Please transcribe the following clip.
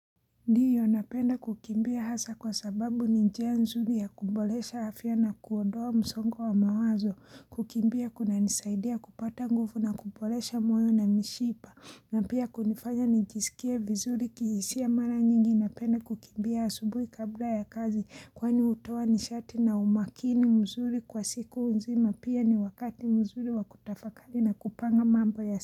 Ndio napenda kukimbia hasa kwa sababu ni njia nzuri ya kuboresha afya na kuondoa msongo wa mawazo kukimbia kunanisaidia kupata nguvu na kuboresha moyo na mishipa na pia kunifanya nijisikie vizuri kihisia mara nyingi napenda kukimbia asubuhi kabla ya kazi kwani hutoa nishati na umakini mzuri kwa siku nzima pia ni wakati mzuri wa kutafakari na kupanga mambo ya sidi.